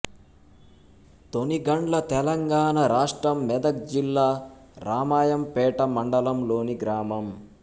తొనిగండ్ల తెలంగాణ రాష్ట్రం మెదక్ జిల్లా రామాయంపేట మండలంలోని గ్రామం